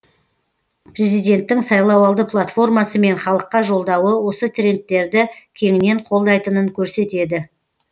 президенттің сайлауалды платформасы мен халыққа жолдауы осы трендтерді кеңінен қолдайтынын көрсетеді